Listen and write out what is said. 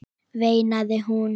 veinaði hún.